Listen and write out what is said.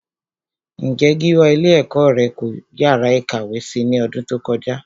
Ǹjé Gíwá ilé ẹ̀kọ́ rẹ kọ́ yàrá ìkàwé si ní ọdún tó kọjá?